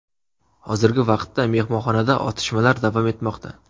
Hozirgi vaqtda mehmonxonada otishmalar davom etmoqda.